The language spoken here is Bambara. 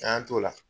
An y'an t'o la